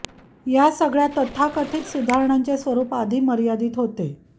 या सगळ्या तथाकथित सुधारणांचे स्वरूप आधी मर्यादित होते